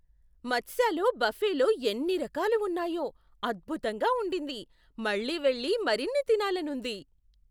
మత్స్యలో బఫేలో ఎన్ని రకాలు ఉన్నాయో, అద్భుతంగా ఉండింది! మళ్ళీ వెళ్ళి మరిన్ని తినాలనుంది.